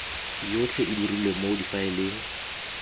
yotlhe e dirilwe mo difaeleng